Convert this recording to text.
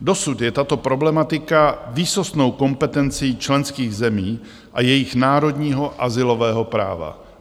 Dosud je tato problematika výsostnou kompetencí členských zemí a jejich národního azylového práva.